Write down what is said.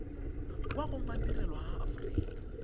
kwa go madirelo a aforika